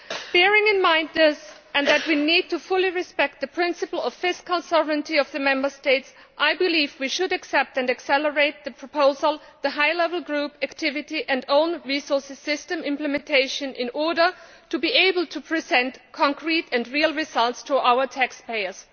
Bearing this in mind, and the fact that we need fully to respect the principle of fiscal sovereignty of the Member States, I believe we should accept and accelerate the proposal, the high level group activity and own resources system implementation in order to be able to present concrete and real results to our taxpayers.